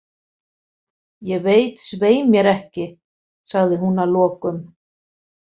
Ég veit svei mér ekki, sagði hún að lokum.